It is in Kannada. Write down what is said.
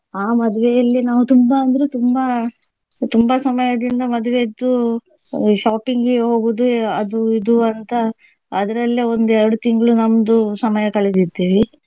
ಆ ಮದುವೆಯಲ್ಲಿ ನಾವು ತುಂಬಾ ಅಂದ್ರೆ ತುಂಬಾ ತುಂಬಾ ಸಮಯದಿಂದ ಮದುವೆಯದ್ದು shopping ಗೆ ಹೋಗುದು ಅದು ಇದು ಅಂತ ಅದರಲ್ಲೇ ಒಂದು ಎರಡು ತಿಂಗ್ಳು ನಮ್ದು ಸಮಯ ಕಳೆದಿದ್ದೇವೆ.